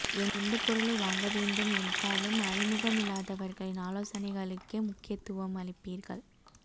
எந்த பொருளை வாங்க வேண்டும் என்றாலும் அறிமுகமில்லாதவர்களின் ஆலோசனைகளுக்கே முக்கியத்துவம் அளிப்பீர்கள்